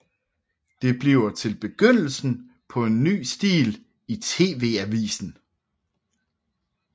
Det bliver til begyndelsen af en ny stil i TV avisen